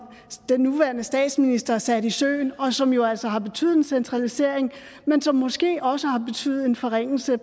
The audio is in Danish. den nuværende statsminister satte i søen og som jo altså har betydet en centralisering men som måske også har betydet en forringelse